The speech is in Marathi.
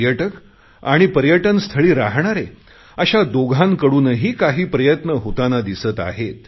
पर्यटक आणि पर्यटनस्थळी राहणारे अशा दोघांकडूनही काही प्रयत्न होतांना दिसत आहेत